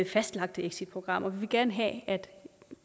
fastlagte exitprogrammer vi vil gerne have at